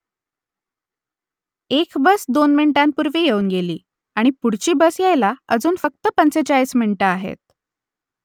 एक बस दोन मिनिटांपूर्वी येऊन गेली आणि पुढची बस यायला अजून फक्त पंचेचाळीस मिनिटं आहेत